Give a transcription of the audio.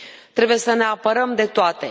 Trebuie să ne apărăm de toate.